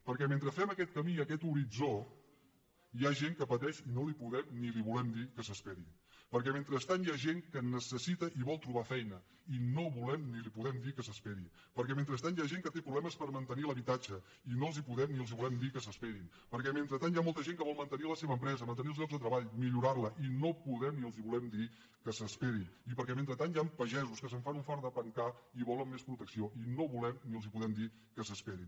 perquè mentre fem aquest camí i aquest horitzó hi ha gent que pateix i no li podem ni li volem dir que s’esperi perquè mentrestant hi ha gent que necessita i vol trobar feina i no volem ni li podem dir que s’esperi perquè mentrestant hi ha gent que té problemes per mantenir l’habitatge i no els podem ni els volem dir que s’esperin perquè mentrestant hi ha molta gent que vol mantenir la seva empresa mantenir els llocs de treball millorar la i no podem ni els volem dir que s’esperin i perquè mentrestant hi han pagesos que se’n fan un fart de pencar i volen més protecció i no volem ni els podem dir que s’esperin